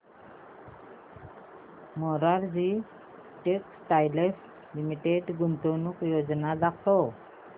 Morarji textiles limited गुंतवणूक योजना दाखव